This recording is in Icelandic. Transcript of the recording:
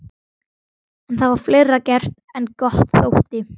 En það var fleira gert en gott þótti.